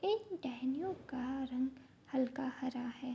इन टहनियों का रंग हल्का हरा है।